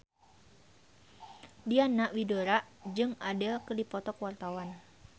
Diana Widoera jeung Adele keur dipoto ku wartawan